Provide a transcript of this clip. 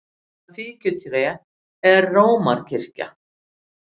Og það fíkjutré er Rómarkirkjan!